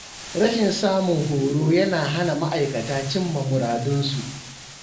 Rashin samun horo yana hana ma’aikata cimma muradunsu.